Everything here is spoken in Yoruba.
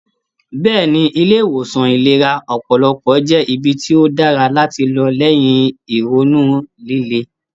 Bẹ́ẹ̀ni, ilé ìwòsan ìlera ọpọlọpọ jẹ́ ibi tí ó dára láti lọ lẹ́yìn ìrònú líle